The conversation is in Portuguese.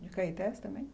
De Caetés também?